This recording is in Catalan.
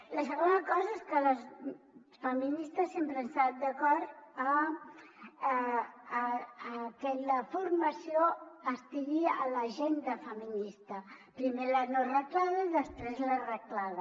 la segona cosa és que les feministes sempre hem estat d’acord a que la formació estigui a l’agenda feminista primer la no reglada i després la reglada